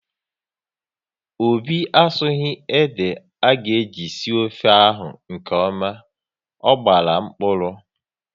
Obi asughi ede aga eji sie ofe ahụ nkeọma, ọ gbara mkpụrụ